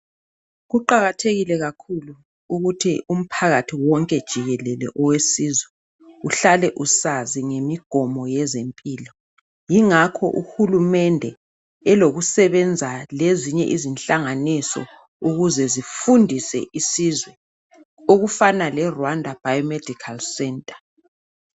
Kuqakathekile kakhulu ukuthi umphakathi wonke jikelele owesizwe uhlake usazi ngemigomo yezempilo. Yingakho uhulumende elokusebenza lezinye inhlanganiso. Ukuthi zifundise isizwe. Okufana leRwanda, Bio Medical Centre.